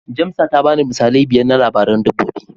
Jamsa ta bani misalai biyar na labaran dabbobi.